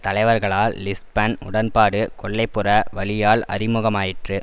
தலைவர்களால் Lisbon உடன்பாடு கொல்லை புற வழியால் அறிமுகமாயிற்று